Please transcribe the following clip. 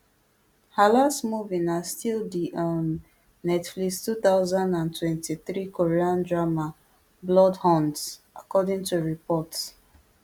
her last movie na still di um netflix two thousand and twenty-three korean drama bloodhounds according to reports